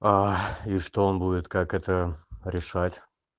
а и что он будет как это решать